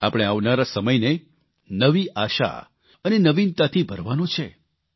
આપણે આવનારા સમયને નવી આશા અને નવીનતાથી ભરવાનો છે